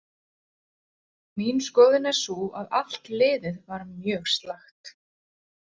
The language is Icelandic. Mín skoðun er sú að allt liðið var mjög slakt.